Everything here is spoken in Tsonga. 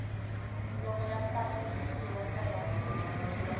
loko ya pimanisiwa na ya